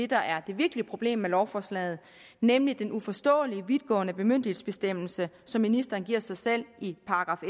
der er det virkelige problem med lovforslaget nemlig den uforståelige vidtgående bemyndigelsesbestemmelse som ministeren giver sig selv i §